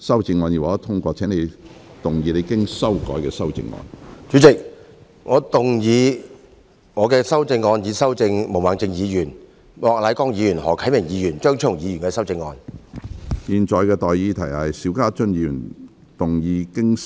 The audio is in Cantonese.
主席，我動議我經修改的修正案，進一步修正經毛孟靜議員、莫乃光議員、何啟明議員及張超雄議員修正的李慧琼議員議案。